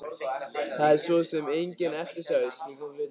Það er svo sem engin eftirsjá í slíkum hlutum.